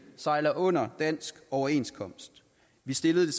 sejler under dansk overenskomst vi stillede